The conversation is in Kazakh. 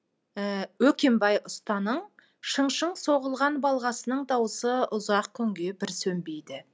өкембай ұстаның шың шың соғылған балғасының дауысы ұзақ күнге бір сөнбейді